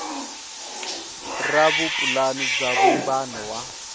ra vupulani bya vumbano wa